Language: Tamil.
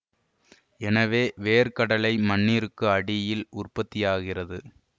எனவே வேர்க்கடலை மண்ணிற்கு அடியில் உற்பத்தியாகிறது